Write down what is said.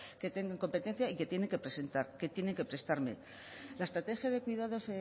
que tengan competencia y que tienen que presentar que tienen que prestarme la estrategia de cuidados